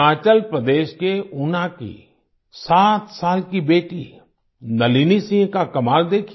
हिमाचल प्रदेश के ऊना की 7 साल की बेटी नलिनी सिंह का कमाल देखिए